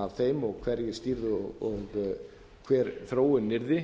af þeim og hverjir stýrðu og hver þróunin yrði